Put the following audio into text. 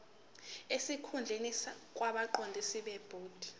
sesikhundleni kwabaqondisi bebhodi